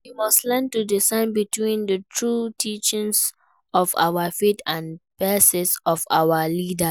We must learn to discern between di true teachings of our faith and biases of our leaders.